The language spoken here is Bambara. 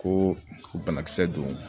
Ko banakisɛ don